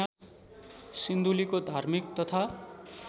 सिन्धुलीको धार्मिक तथा